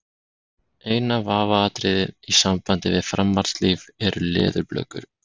Eina vafaatriðið í sambandi við framhaldslíf eru leðurblökur.